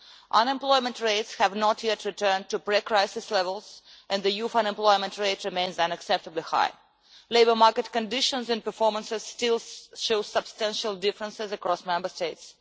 Unemployment rates have not yet returned to pre crisis levels and the youth unemployment rate remains unacceptably high. Labour market conditions and performance still show substantial differences across Member States.